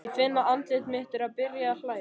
Ég finn að andlit mitt er byrjað að hlæja.